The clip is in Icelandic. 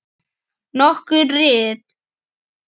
Nokkur rit